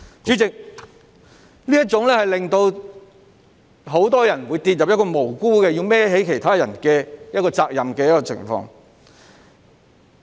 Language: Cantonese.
主席，這會令很多人無辜地要要為其他人的行為負上責任。